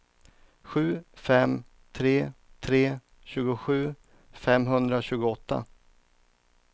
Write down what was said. sju fem tre tre tjugosju femhundratjugoåtta